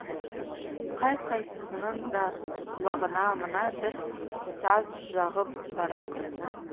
қай қайсысының да құлағына мына бір саз жағып барады